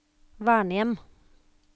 vernehjem